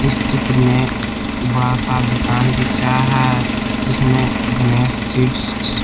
इस चित्र में बड़ा सा दुकान दिख रहा है जिसमें गणेश सीड्स --